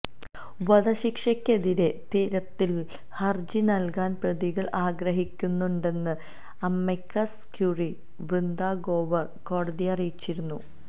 വധശിക്ഷയ്ക്കെതിരെ തിരുത്തല് ഹര്ജി നല്കാന് പ്രതികള് ആഗ്രഹിക്കുന്നുണ്ടെന്ന് അമിക്കസ് ക്യൂറി വൃന്ദാ ഗ്രോവര് കോടതിയെ അറിയിച്ചിരുന്നു